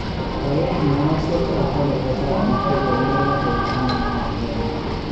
Koyai meoshek choto kotesak biik che ko meeiyo koek taman ak agenge